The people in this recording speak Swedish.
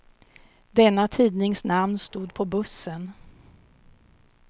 Denna tidnings namn stod på bussen.